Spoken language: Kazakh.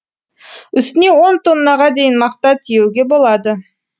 үстіне он тоннаға дейін мақта тиеуге болады